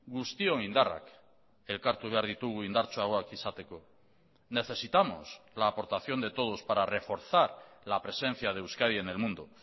guztion indarrak elkartu behar ditugu indartsuagoak izateko necesitamos la aportación de todos para reforzar la presencia de euskadi en el mundo